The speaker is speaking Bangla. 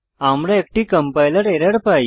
আমরা একটি কম্পাইলার এরর পাই